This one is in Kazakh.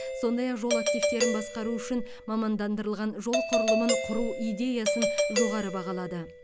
сондай ақ жол активтерін басқару үшін мамандандырылған жол құрылымын құру идеясын жоғары бағалады